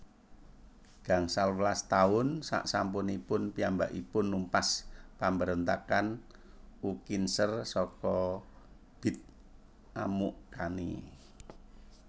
Gangsal welas taun sesampunipun piyambakipun numpas pambarontakan Ukinzer saka Bit Amukkani